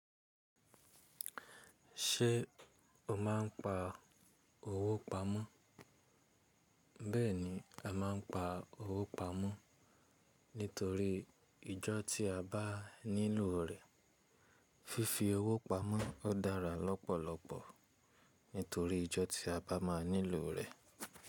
Ṣé o máa ń pa owó pamọ́? Bẹ́ẹ̀ni, a máa ń pa owó pamọ́ nítorí ìjọ tí a bá nílò rẹ. Fifi owó pamọ́ o dára lọ́pọ̀lọpọ̀ nítorí ìjọ tí a bá máa nílò rẹ.